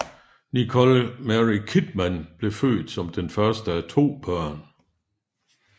Nicole Mary Kidman blev født som den første af to børn